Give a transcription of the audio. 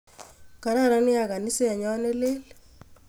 Kararan nea kaiset nyo ne lel.